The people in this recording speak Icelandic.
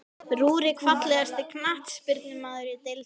Rúrik Fallegasti knattspyrnumaðurinn í deildinni?